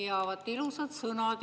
Jaa, vaat ilusad sõnad!